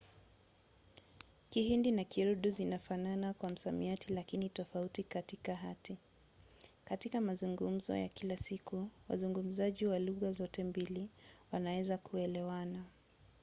kihindi na kiurdu zinafanana kwa msamiati lakini tofauti katika hati; katika mazungumzo ya kila siku wazungumzaji wa lugha zote mbili wanaweza kuelewana